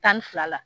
Tan ni fila la